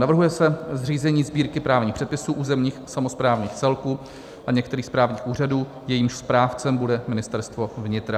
Navrhuje se zřízení Sbírky právních předpisů územních samosprávných celků a některých správních úřadů, jejímž správcem bude Ministerstvo vnitra.